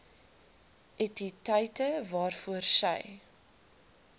entiteite waaroor sy